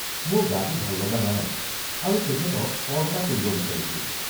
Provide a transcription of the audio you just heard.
মোৰ গাটো ভাল লগা নাই আৰু তেখেতক কল এটা কৰিব বিচাৰিছো।